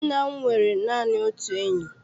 Nna m nwere naanị otu enyi.